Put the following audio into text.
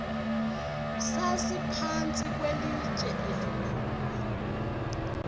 sasiphantsi kwelitye elikhulu